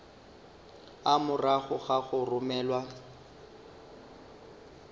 a morago ga go romelwa